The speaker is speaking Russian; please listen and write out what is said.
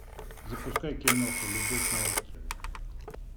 запускай киноху любовь на острове